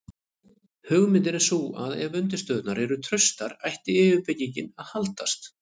hugmyndin er sú að ef undirstöðurnar eru traustar ætti yfirbyggingin að haldast